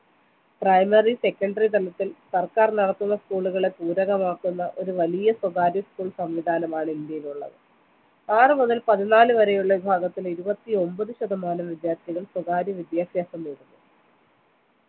primary secondary തലത്തിൽ സർക്കാർ നടത്തുന്ന school ഉകളെ പൂരകമാക്കുന്ന ഒരു വലിയ സ്വകാര്യ school സംവിധാനമാണ് ഇന്ത്യയിലുള്ളത് ആറ് മുതൽ പതിനാല് വരെയുള്ള ഭാഗത്തിലെ ഇരുപത്തിയൊൻപത് ശതമാനം വിദ്യാർഥികൾ സ്വകാര്യ വിദ്യാഭ്യാസം നേടുന്നു